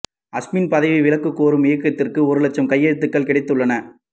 அஸ்மின் பதவி விலகக் கோரும் இயக்கத்திற்கு ஒரு லட்சம் கையெழுத்துகள் கிடைத்துள்ளன